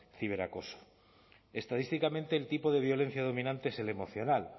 ciberacoso estadísticamente el tipo de violencia dominante es el emocional